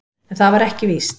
En það var ekki víst.